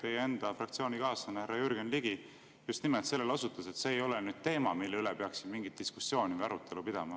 Teie enda fraktsioonikaaslane härra Jürgen Ligi just nimelt sellele osutas, et see ei ole teema, mille üle peaks siin mingit diskussiooni või arutelu pidama.